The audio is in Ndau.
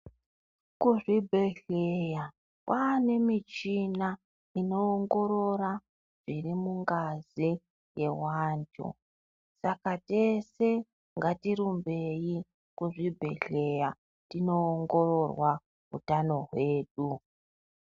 Kuzvibehleya kwane michina inoongorora zviri mungazi yewanthu. Saka tese ngatirumbei kuzvibhehleya kuti tinoongororwa utano hwedu.